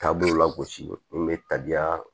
Taabolo lagosi n bɛ tabiya